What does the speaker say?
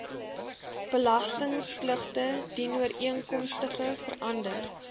belastingpligtige dienooreenkomstig verander